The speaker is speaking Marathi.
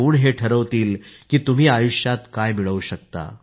कधीच असा विचार करू नका की तुम्हाला जे करायचं आहे त्यात तुम्ही कमी पडाल